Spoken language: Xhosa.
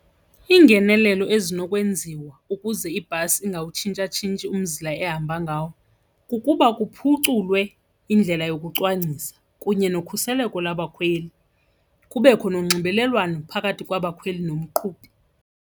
Iingenelelo ezinokwenziwa ukuze ibhasi ingawutshintshatshintshi umzila ehamba ngawo kukuba kuphuculwe indlela yokucwangcisa kunye nokhuseleko labakhweli kubekho nonxibelelwano phakathi kwabakhweli nomqhubi.